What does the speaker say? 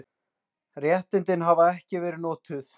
Réttindin hafa ekki verið notuð.